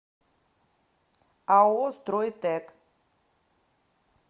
ао стройтэк